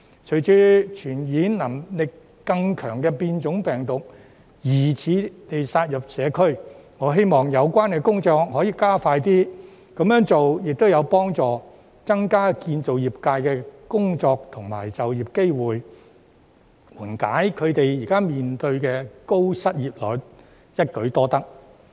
隨着傳染能力更強的變種病毒疑似殺入社區，我希望有關工作可以加快，這樣做亦會有助增加建造業界的工作和就業機會，緩解他們現時面對的高失業率，實在一舉多得。